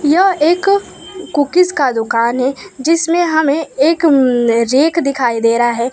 यह एक कुकीज का दुकान है जिसमें हमें एक रैक दिखाई दे रहा है।